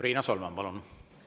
Riina Solman, palun!